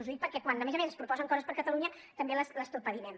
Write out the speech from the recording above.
ho dic perquè quan a més a més es proposen coses per a catalunya també les torpedinem